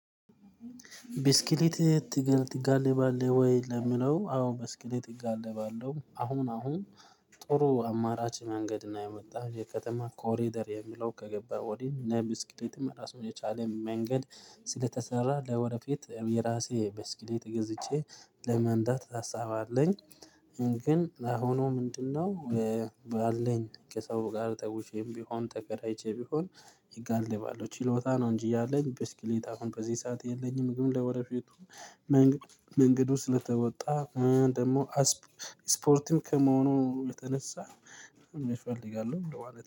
ቢስክሌት ትጋ ትጋልብላህ ወይ ለሚለው አዎ ብስክሌት እጋልባለሁ። አሁን አሁን ጥሩ አማራጭ መንገድ እና የመጣ የከተማ ኮሪደር የሚለው ከገባ ወዲህ እና ብስክሌት ራሱን የቻለ መንገድ ስለተሰራ ለወደፊት የራሴ ብስክሌት ገዝቼ ለመንዳት ሀሳብ አለኝ። ግን ላሁኑ ምንድነው? ባለኝ ከሰው ጋር ተውሼም ቢሆን ተከራይቼ ቢሆን እጋልባለሁ ችሎታ ነው እንጂ ያለኝ ብስክሌት አሁን በዚህ ሰዓት የለኝም። ግን ለወደፊቱ መንገድ መንገዱ ስለተወጣ እህ ደሞ አስ ስፖርትም ከመሆኑ የተነሳ እፈልጋለሁ። እንደው አለ